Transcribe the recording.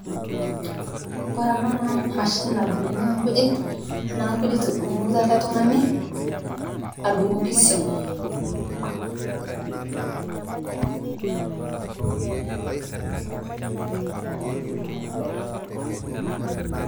Oore eena naa emashini nadung'iki inkujit, niaku inkujit edung'ito eele tung'ani, adung'oki iswam.